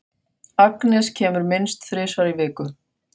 Agnes kemur minnst þrisvar í viku.